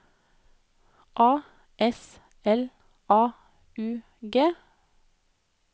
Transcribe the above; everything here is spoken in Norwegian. A S L A U G